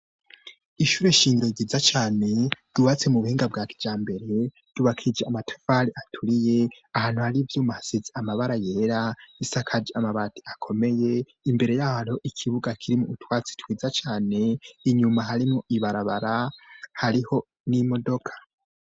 Ishure shingiro ryiza cane, ryubatse mu buhinga bwa kijambere, ryubakishijwe amatafari aturiye, ahantu hari ivyuma hasize amabara yera, risakaje amabati akomeye, imbere yaho har'ikibuga kirimwo utwatsi twiza cane, inyuma hariho ibarabara, harimwo n'imodoka.